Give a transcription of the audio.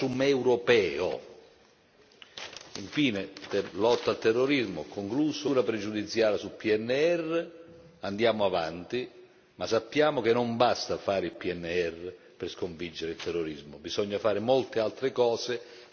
Infine, lotta al terrorismo, concludo, nessuna pregiudiziale sul PNR, andiamo avanti, ma sappiamo che non basta fare il PNR per sconfiggere il terrorismo, bisogna fare molte altre cose e io mi auguro che riusciremo a farle.